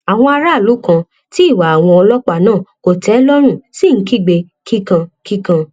àwọn aráàlú kan tí ìwà àwọn ọlọpàá náà kò tẹ lọrùn sì ń kígbe kíkankíkan